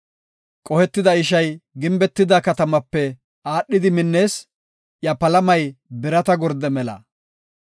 Qohetida ishay gimbetida katamape aadhidi minnees; iya palamay birata gorde mela.